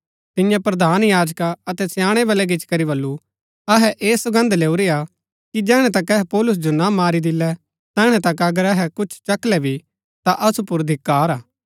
तिन्ये प्रधान याजका अतै स्याणै बळै गिचीकरी बल्लू अहै ऐह सौगन्द लैऊरी हा कि जैहणै तक अहै पौलुस जो ना मरी दिल्लै तैहणै तक अगर अहै कुछ चखलै भी ता असु पुर धिक्‍कार हा